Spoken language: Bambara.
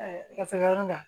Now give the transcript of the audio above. ka se yɔrɔ da